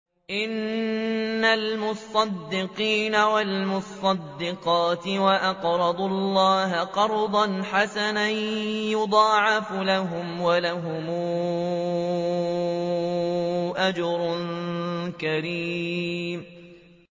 إِنَّ الْمُصَّدِّقِينَ وَالْمُصَّدِّقَاتِ وَأَقْرَضُوا اللَّهَ قَرْضًا حَسَنًا يُضَاعَفُ لَهُمْ وَلَهُمْ أَجْرٌ كَرِيمٌ